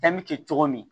Danni kɛ cogo min